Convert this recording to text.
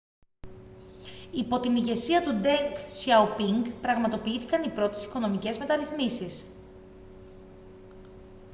yπό την ηγεσία του ντενγκ σιαοπίνγκ πραγματοποιήθηκαν oι πρώτες οικονομικές μεταρρυθμίσεις